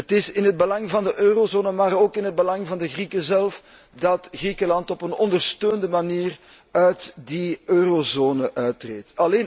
Het is in het belang van de Eurozone, maar ook in het belang van de Grieken zelf dat Griekenland op een ondersteunde manier uit die Eurozone uittreedt.